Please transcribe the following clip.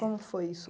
Como foi isso?